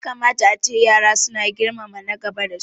Ya kamata ace yara su na girmama na gaba da su